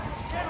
Nə oldu?